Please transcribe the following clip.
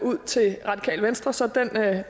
ud til radikale venstre så